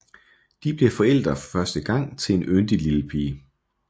De bliver forældre for første gang til en yndig lille pige